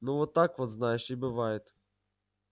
ну вот так вот знаешь и бывает